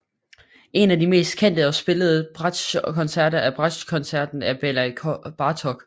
En af de mest kendte og spillede bratschkoncerter er bratschkoncerten af Bela Bartok